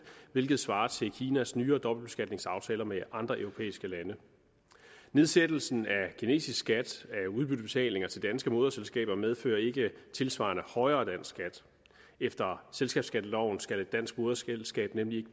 hvilket svarer til kinas nyere dobbeltbeskatningsaftaler med andre europæiske lande nedsættelsen af kinesisk skat af udbyttebetalinger til danske moderselskaber medfører ikke tilsvarende højere dansk skat efter selskabsskatteloven skal et dansk moderselskab nemlig